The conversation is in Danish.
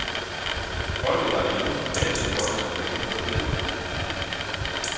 Holdet var det eneste danske hold som gennemførte løbet.